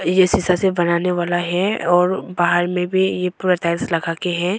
ये शीशा से बनाने वाला है और बाहर में भी पूरा टाइल्स लगा के है।